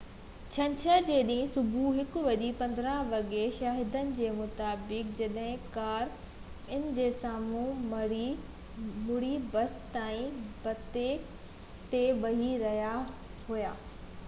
ڇنڇر جي ڏينهن صبح 1:15 وڳي شاهدن جي مطابق جڏهن ڪار ان جي سامهون مڙي ته بس سائي بتي تي وڃي رهي هئي